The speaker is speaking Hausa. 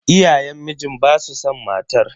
Iyayen mijin basu san matar.